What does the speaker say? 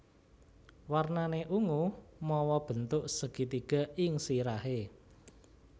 Warnané ungu mawa bentuk segitiga ing sirahé